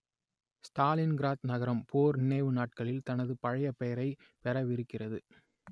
Stalingrad நகரம் போர் நினைவு நாட்களில் தனது பழைய பெயரைப் பெறவிருக்கிறது